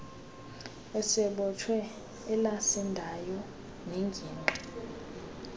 sebhotwe elasindayo nengingqi